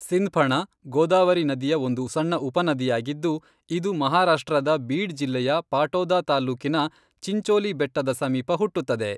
ಸಿಂಧ್ಫಣಾ ಗೋದಾವರಿ ನದಿಯ ಒಂದು ಸಣ್ಣ ಉಪನದಿಯಾಗಿದ್ದು, ಇದು ಮಹಾರಾಷ್ಟ್ರದ ಬೀಡ್ ಜಿಲ್ಲೆಯ ಪಾಟೋದಾ ತಾಲ್ಲೂಕಿನ ಚಿಂಚೋಲಿ ಬೆಟ್ಟದ ಸಮೀಪ ಹುಟ್ಟುತ್ತದೆ.